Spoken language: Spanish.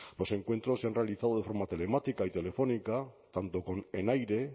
los encuentros se han realizado de forma telemática y telefónica tanto con enaire